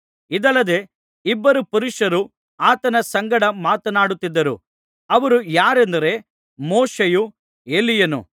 ಇದಲ್ಲದೆ ಇಬ್ಬರು ಪುರುಷರು ಆತನ ಸಂಗಡ ಮಾತನಾಡುತ್ತಿದ್ದರು ಅವರು ಯಾರೆಂದರೆ ಮೋಶೆಯೂ ಎಲೀಯನೂ